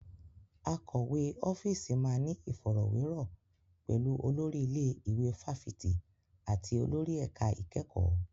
Akọ̀wé ọ́fíìsì máa ní ìfọ̀rọ̀wérọ̀ pẹ̀lú olórí ilé ìwé fáfitì àti olórí ẹ̀ka ìkẹ́kọ̀ọ́.